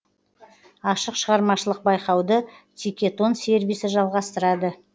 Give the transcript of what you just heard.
ашық шығармашылық байқауды тикетон сервисі жалғастырады